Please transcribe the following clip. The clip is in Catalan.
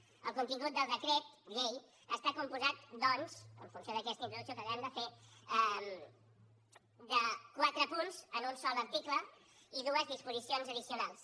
el contingut del decret llei està compost doncs en funció d’aquesta introducció que acabem de fer de quatre punts en un sol article i dues disposicions addicionals